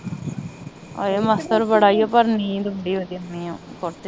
ਆਏ ਮੱਛਰ ਬੜਾ ਈਓ ਪਰ ਨੀਂਦ ਬੜੀ ਵਧੀਆ ਆਉਣੀ ਊ ਕੋਠੇ ਤੇ